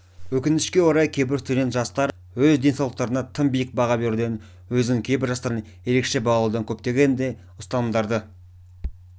өкінішке орай кейбір студент жастар өз денсаулықтарына тым биік баға беруден өзін кейбір жастардан ерекше бағалаудан көптеген ұстанымдарды